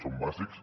són bàsics